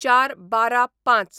०४/१२/०५